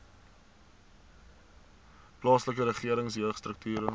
plaaslike regering jeugstrukture